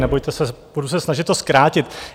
Nebojte se, budu se snažit to zkrátit.